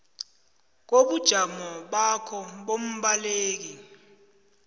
kobujamo bakho bombaleki